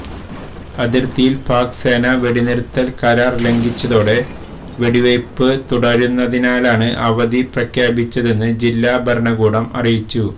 അതിര്ത്തിയില് പാക് സേന വെടിനിര്ത്തല് കരാര് ലംഘിച്ചതോടെ വെടിവെയ്പ് തുടരുന്നതിനാലാണ് അവധി പ്രഖ്യാപിച്ചതെന്ന് ജില്ലാ ഭരണകൂടം അറിയിച്ചു